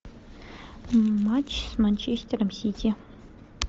матч с манчестером сити